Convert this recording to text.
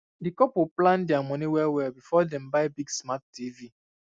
di couple plan their money well well before dem buy big smart tv